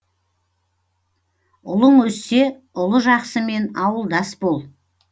ұлың өссе ұлы жақсымен ауылдас бол